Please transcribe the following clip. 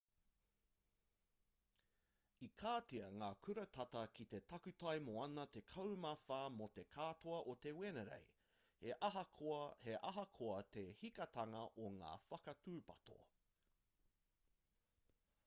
i katia ngā kura tata ki te takutai moana tekau mā whā mō te katoa o te wenerei he aha koa te hikitanga o ngā whakatūpato